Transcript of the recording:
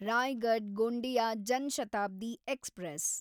Raigad Gondia Jan Shatabdi express